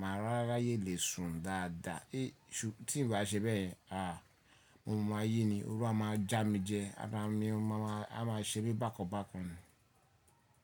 màá ráráyé lè sùn dáadáa. Tí n ba ṣe bẹ́ẹ̀, àá mo máa yí ni, oru a máa já mi jẹ, ara mi a máa ṣe bí i bákan bákan ni.